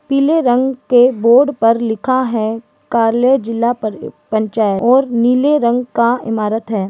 पीले रंग के बोर्ड पर लिखा है कार्यालय जिला पं-पंचायत और नीले रंग का इमारत है।